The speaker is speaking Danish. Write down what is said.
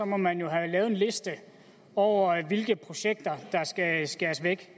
må man jo have lavet en liste over hvilke projekter der skal skæres væk